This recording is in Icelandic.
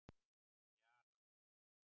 Jara